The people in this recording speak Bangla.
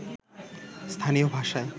স্থানীয় ভাষায়